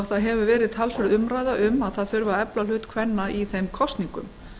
það hefur verið talsverð umræða um að efla þurfi hlut kvenna í þeim kosningum